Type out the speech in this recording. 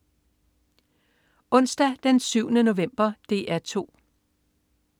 Onsdag den 7. november - DR 2: